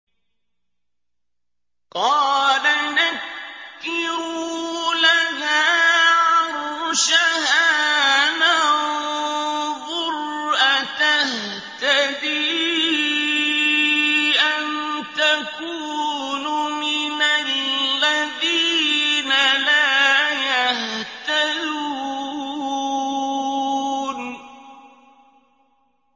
قَالَ نَكِّرُوا لَهَا عَرْشَهَا نَنظُرْ أَتَهْتَدِي أَمْ تَكُونُ مِنَ الَّذِينَ لَا يَهْتَدُونَ